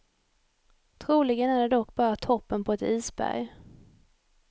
Troligen är det dock bara toppen på ett isberg.